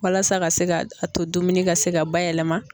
Walasa ka se ka a to dumuni ka se ka bayɛlɛma.